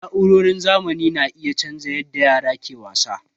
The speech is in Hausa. Na'urorin zamani na iya canza yadda yara ke wasa.